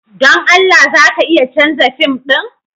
Don Allah za ka iya canza fim ɗin?